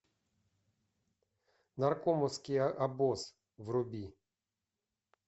наркомовский обоз вруби